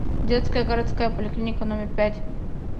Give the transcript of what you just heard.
детская городская поликлиника номер пять